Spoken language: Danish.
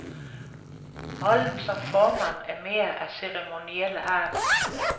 Rollen som formand er mere af ceremoniel art.